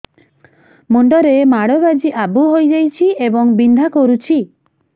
ମୁଣ୍ଡ ରେ ମାଡ ବାଜି ଆବୁ ହଇଯାଇଛି ଏବଂ ବିନ୍ଧା କରୁଛି